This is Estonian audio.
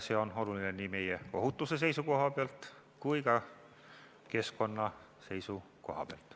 See on oluline nii meie ohutuse koha pealt kui ka keskkonna koha pealt.